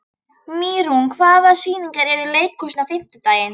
Mýrún, hvaða sýningar eru í leikhúsinu á fimmtudaginn?